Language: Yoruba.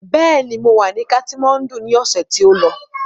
Bẹ́ẹ̀ ni, mọ wà ní katimáńdù ni ọ̀sẹ̀ tí ó lọ.